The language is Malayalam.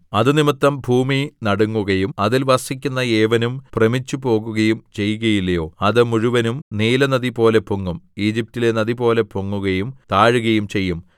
അതുനിമിത്തം ഭൂമി നടുങ്ങുകയും അതിൽ വസിക്കുന്ന ഏവനും ഭ്രമിച്ചുപോകുകയും ചെയ്യുകയില്ലയോ അത് മുഴുവനും നീലനദിപോലെ പൊങ്ങും ഈജിപ്റ്റിലെ നദിപോലെ പൊങ്ങുകയും താഴുകയും ചെയ്യും